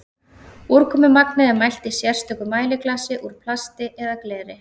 úrkomumagnið er mælt í sérstöku mæliglasi úr plasti eða gleri